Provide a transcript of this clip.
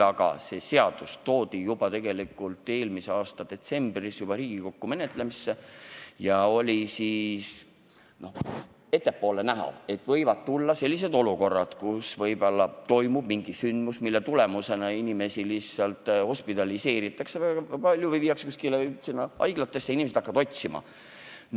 Aga see seadus toodi Riigikokku menetlemisse tegelikult juba eelmise aasta detsembris ja siis oli ettepoole vaadates näha, et võib tulla selliseid olukordi, kus toimub mingisugune sündmus, mille tagajärjel väga palju inimesi lihtsalt hospitaliseeritakse, viiakse haiglatesse, ja teised inimesed hakkavad neid otsima.